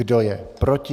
Kdo je proti?